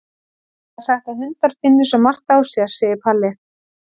Það er sagt að hundar finni svo margt á sér, segir Palli.